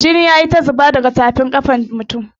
Jini ya yi ta zuba daga tafin ƙafar mutumin.